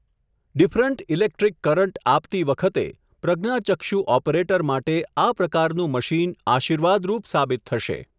Different electric current આપતી વખતે, પ્રજ્ઞાચક્ષુ ઓપરેટર માટે આ પ્રકારનું મશીન આશિર્વાદરૂપ સાબિત થશે.